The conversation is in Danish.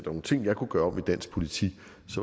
nogle ting jeg kunne gøre om i dansk politik